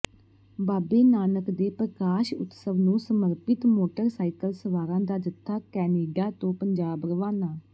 ਬਾਬੇ ਨਾਨਕ ਦੇ ਪ੍ਰਕਾਸ਼ ਉਤਸਵ ਨੂੰ ਸਮਰਪਿਤ ਮੋਟਰਸਾਈਕਲ ਸਵਾਰਾਂ ਦਾ ਜਥਾ ਕੈਨੇਡਾ ਤੋਂ ਪੰਜਾਬ ਰਵਾਨਾ